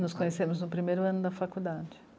Nos conhecemos no primeiro ano da faculdade.